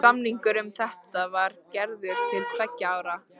Samningur um þetta var gerður til tveggja ára.